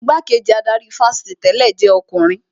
Igbá-kejì adarí ifásitì tẹ̀lẹ́ jẹ́ ọkùnrin